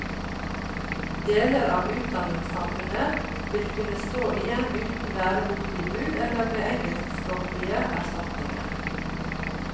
Deler av utdanningssamfunnet vil kunne stå igjen uten læreboktilbud eller med engelskspråklige erstatninger.